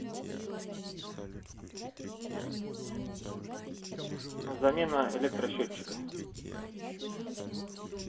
замена электросчётчика